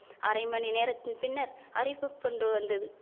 அரை மணிநேரத்தின் பின்னர் அறிவிப்பொன்று வந்தது